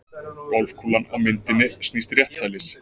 Golfkúlan á myndinni snýst réttsælis.